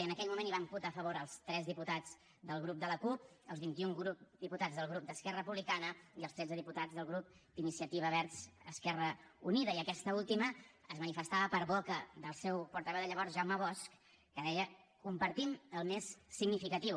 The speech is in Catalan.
i en aquell moment hi van votar a favor els tres diputats del grup de la cup els vint un diputats del grup d’esquerra republicana i els tretze diputats del grup d’iniciativa verds esquerra unida i aquesta última es manifestava per boca del seu portaveu de llavors jaume bosch que deia compartim el més significatiu